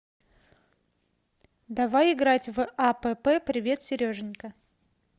давай играть в апп привет сереженька